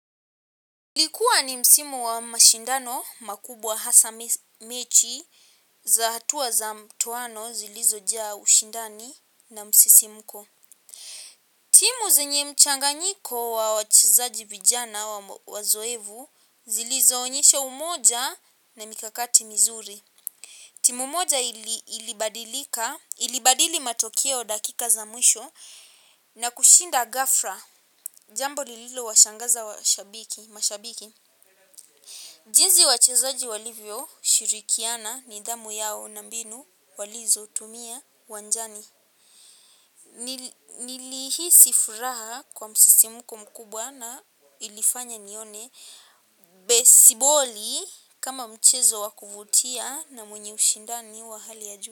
Ilikuwa ni msimu wa mashindano makubwa hasa mechi za hatua za mtoano zilizojaa ushindani na msisimuko. Timu zenye mchanganyiko wa wachezaji vijana wazoevu zilizo onyesha umoja na mikakati mizuri. Timu moja ilibadili matokeo dakika za mwisho na kushinda ghafla jambo lililo washangaza mashabiki. Jinsi wachezaji walivyoshirikiana nidhamu yao na mbinu walizotumia uwanjani nilihisi furaha kwa msisimuko mkubwa na ilifanya nione besiboli kama mchezo wa kuvutia na mwenye ushindani wa hali ya juu.